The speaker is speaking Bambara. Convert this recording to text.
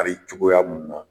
Kari cogoya mun na